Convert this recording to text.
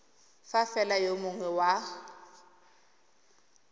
fa fela yo mongwe wa